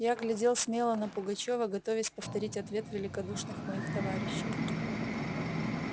я глядел смело на пугачёва готовясь повторить ответ великодушных моих товарищей